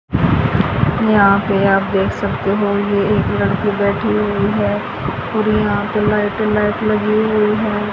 यहाँ पे आप देख सकते हो ये एक लड़की बैठी हुई हैं पूरी यहाँ पे लाईट ही लाइट लगी हुई हैं।